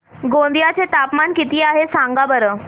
गोंदिया चे तापमान किती आहे सांगा बरं